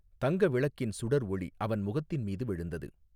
தங்க விளக்கின் சுடர் ஒளி அவன் முகத்தின் மீது விழுந்தது.